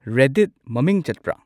Reddit ꯃꯃꯤꯡ ꯆꯠꯄ꯭ꯔ